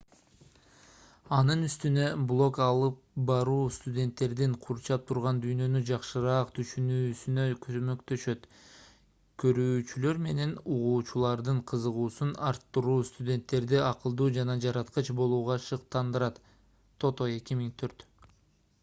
анын үстүнө блог алып баруу студенттердин курчап турган дүйнөнү жакшыраак түшүнүүсүнө көмөктөшөт". көрүүчүлөр менен угуучулардын кызыгуусун арттыруу – студенттерди акылдуу жана жараткыч болууга шыктандырат тото 2004